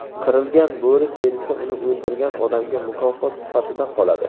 Qirilgan bo‘ri terisi uni o‘ldirgan odamga mukofot sifatida qoladi.